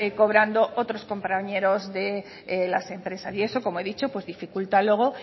cobrando otros compañeros de las empresas y eso como he dicho dificulta luego